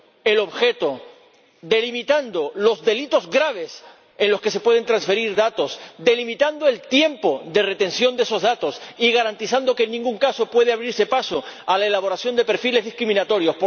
el objeto, delimitando los delitos graves en los que se pueden transferir datos, delimitando el tiempo de retención de esos datos y garantizando que, en ningún caso, pueda abrirse paso a la elaboración de perfiles discriminatorios.